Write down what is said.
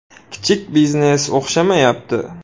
“Kichik biznes o‘xshamayapti.